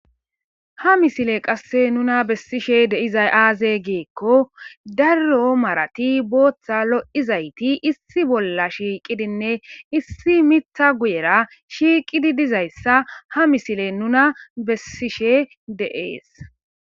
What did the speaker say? Ha misile qasse nuna bessishe de7izay aaze giikko darro marati bootha lo7izayti issi bolla shiiqidinne issi mitha guyera shiiqidi dizayssa ha misile nuna bessishe de7ees.